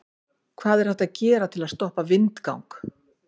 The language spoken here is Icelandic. hvað er hægt að gera til að stoppa vindgang